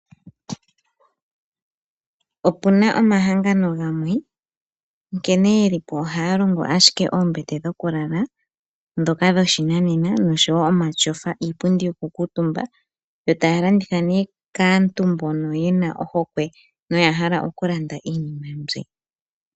Opuna omahangano gamwe nkene yeli po ohaya longo ashike oombete dhokulala dhoka dhoshinanena noshowo omatyofa ano iipundi yoku kuutumba, yo taa landitha nee kaantu mbono yena ohokwe noya hala okulanda iinima mbi.